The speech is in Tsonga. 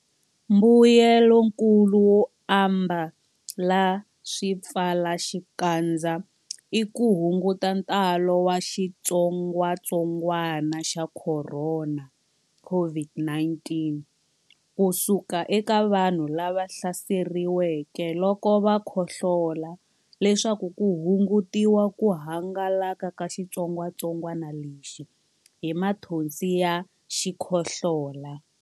Mbuyelonkulu wo ambala swipfalaxikandza i ku hunguta ntalo wa xitsongwantsongwana xa Khorona COVID-19 ku suka eka vanhu lava hlaseriweke loko va khohlola leswaku ku hungutiwa ku hangalaka ka xitsongwantsongwana lexi hi mathonsi ya xikhohlola.